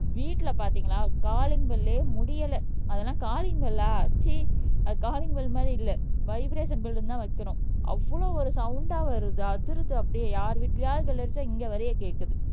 வீட்டிலே பாத்தீங்கன்னா காலிங் பெல்லே முடியல அதெல்லாம் காலிங் பெல்லா ச்சீ அது காலிங் பெல் மாதிரி இல்ல வைப்ரஷன் பெல்லுனு தான் வைக்கணும் அவ்ளோ ஒரு சவுண்டா வருது அதிருது அப்படியே யார் வீட்டிலேயாவது பெல் அடிச்சா இங்கே வரைய கேட்குது